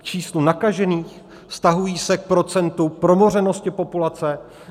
K číslu nakažených, vztahují se k procentu promořenosti populace?